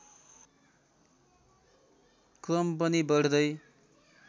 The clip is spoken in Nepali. क्रम पनि बढ्दै